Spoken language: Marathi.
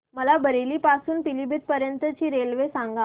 मला बरेली पासून तर पीलीभीत पर्यंत ची रेल्वे सांगा